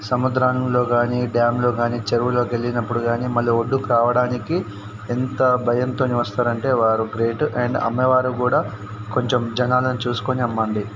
సముద్రంలో గాని డ్యామ్ లో గాని చెరువులోకి వెళ్ళినప్పుడు గాని మళ్లీ ఒడ్డుకు రావడానికి ఎంత భయంతోనే వస్తారంటే వారు గ్రేట్ అండ్ అమ్మేవారు కూడా కొంచెం జనాలని చూసుకొని అమ్మండి.